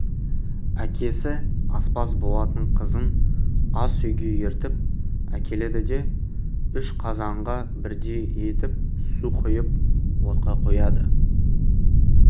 әкесі аспаз болатын қызын ас үйге ертіп әкеледі де үш қазанға бірдей етіп су құйып отқа қояды